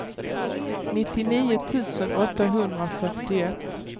nittionio tusen åttahundrafyrtioett